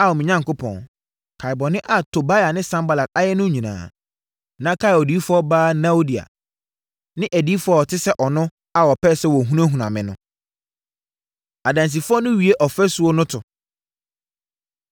Ao me Onyankopɔn, kae bɔne a Tobia ne Sanbalat ayɛ no nyinaa. Na kae odiyifoɔ baa Noadia ne adiyifoɔ a wɔte sɛ ɔno a wɔpɛɛ sɛ wɔhunahuna me no. Adansifoɔ No Wie Ɔfasuo No To